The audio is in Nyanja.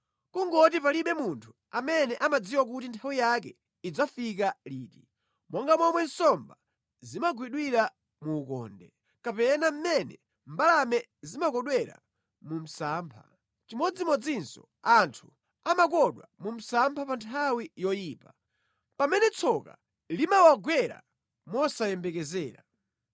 Kungoti palibe munthu amene amadziwa kuti nthawi yake idzafika liti: monga momwe nsomba zimagwidwira mu ukonde, kapena mmene mbalame zimakodwera mu msampha, chimodzimodzinso anthu amakodwa mu msampha pa nthawi yoyipa, pamene tsoka limawagwera mosayembekezera.